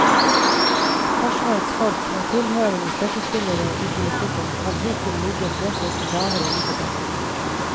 Forsvarets folk, med tilhørende støttespillere i politikken, har hittil ligget vesentlig lavere i debatten.